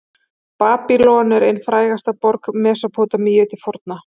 babýlon er ein frægasta borg mesópótamíu til forna